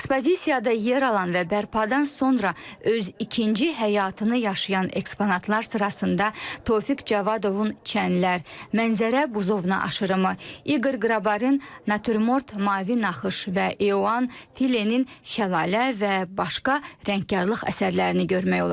Ekspozisiyada yer alan və bərpadan sonra öz ikinci həyatını yaşayan eksponatlar sırasında Tofiq Cavadovun “Çənlər”, “Mənzərə”, “Buzovna aşırımı”, İqor Qrabarin “Naturmort”, “Mavi Naxış” və Eoan Tilenin “Şəlalə” və başqa rəngkarlıq əsərlərini görmək olar.